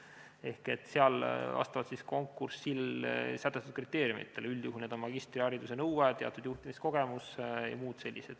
See käib vastavalt konkursil sätestatud kriteeriumidele, üldjuhul on need magistrihariduse nõue, teatud juhtimiskogemus jms.